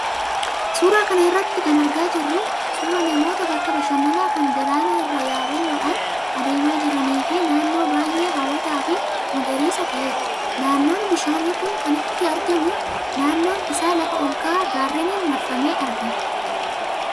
Suuraa kana irraa kan argaa jirru suuraa namoota bakka bashannanaa kan galaanaa irra yabaloodhaan adeemaa jiranii fi naannoo baay'ee hawwataa fi magariisa ta'edha. Naannoon bishaan kun itti argamu naannoon isaa lafa ol ka'aa gaarreeniin marfamee argama.